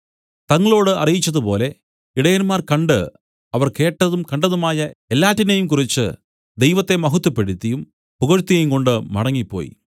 തങ്ങളോട് അറിയിച്ചതുപോലെ ഇടയന്മാർ കണ്ട് അവർ കേട്ടതും കണ്ടതുമായ എല്ലാറ്റിനെയും കുറിച്ച് ദൈവത്തെ മഹത്വപ്പെടുത്തിയും പുകഴ്ത്തിയുംകൊണ്ട് മടങ്ങിപ്പോയി